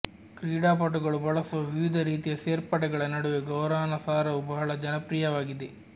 ಕ್ರೀಡಾಪಟುಗಳು ಬಳಸುವ ವಿವಿಧ ರೀತಿಯ ಸೇರ್ಪಡೆಗಳ ನಡುವೆ ಗೌರಾನಾ ಸಾರವು ಬಹಳ ಜನಪ್ರಿಯವಾಗಿದೆ